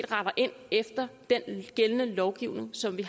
retter ind efter den gældende lovgivning som